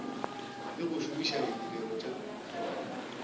le go šomiša ditirelo tša